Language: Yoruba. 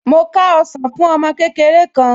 Mo ká ọsàn fún ọmọ kékeré kan